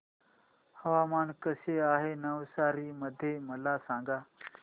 हवामान कसे आहे नवसारी मध्ये मला सांगा